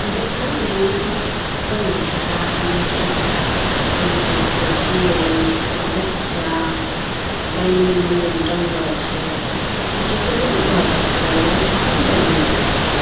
देखैं नाय यहाँ बहुत सारा आदमी छै खड़ा औरत जेनस बच्चा आ बैलून-ऊलून टांगलो छै ई ककरो घोर छकै यहाँ की चलि रहलो छै।